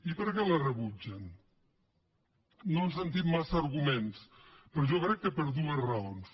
i per què les rebutgen no hem sentit massa arguments però jo crec que per dues raons